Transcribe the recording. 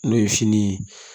N'o ye fini ye